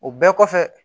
O bɛɛ kɔfɛ